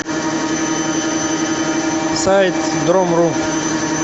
сайт дром ру